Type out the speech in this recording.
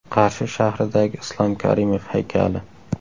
Qarshi shahridagi Islom Karimov haykali .